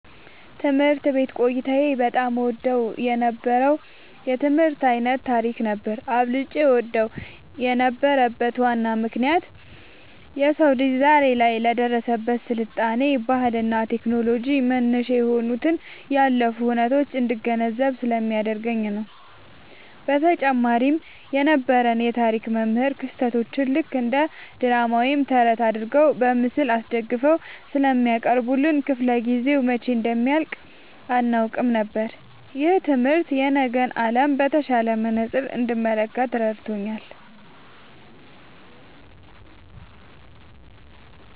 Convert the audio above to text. ትምህርት ቤት ቆይታዬ በጣም እወደው የነበረው የትምህርት ዓይነት ታሪክ ነበር። አብልጬ እወደው የነበረበት ዋናው ምክንያት የሰው ልጅ ዛሬ ላይ ለደረሰበት ስልጣኔ፣ ባህልና ቴክኖሎጂ መነሻ የሆኑትን ያለፉ ሁነቶች እንድገነዘብ ስለሚያደርገኝ ነው። በተጨማሪም የነበረን የታሪክ መምህር ክስተቶቹን ልክ እንደ ድራማ ወይም ተረት አድርገው በምስል አስደግፈው ስለሚያቀርቡልን፣ ክፍለ-ጊዜው መቼ እንደሚያልቅ አናውቅም ነበር። ይህ ትምህርት የነገን ዓለም በተሻለ መነጽር እንድመለከት ረድቶኛል።"